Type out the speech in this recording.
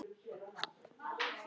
Ég hélt að þú hefðir engan áhuga.